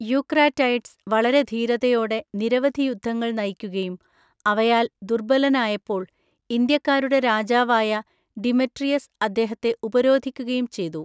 Eucratides വളരെ ധീരതയോടെ നിരവധി യുദ്ധങ്ങൾ നയിക്കുകയും അവയാൽ ദുർബലനായപ്പോൾ, ഇന്ത്യക്കാരുടെ രാജാവായ ഡിമെട്രിയസ് അദ്ദേഹത്തെ ഉപരോധിക്കുകയും ചെയ്തു.